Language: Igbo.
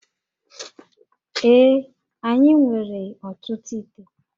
Ee, anyị nwere ọtụtụ íté